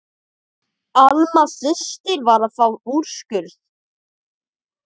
Alma systir var að fá úrskurð.